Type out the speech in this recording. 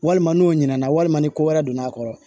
Walima n'o ɲina na walima ni ko wɛrɛ donna a kɔrɔ